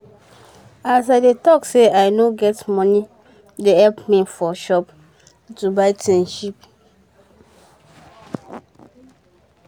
as i dey talk say i nor get moni dey help me for shop to buy tins cheap